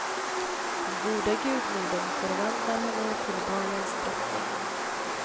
Den goda gudmodern förvandlar henne till balens drottning.